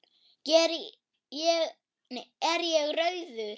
Er ég rauður?